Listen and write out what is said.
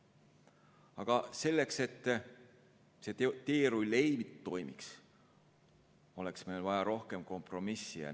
Aga selleks, et see teerull ei toimiks, oleks meil vaja rohkem kompromissi.